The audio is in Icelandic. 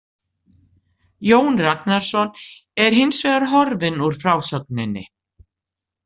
Jón Ragnarsson er hins vegar horfinn úr frásögunni.